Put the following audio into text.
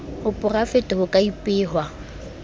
a porafete ho ka ipehwa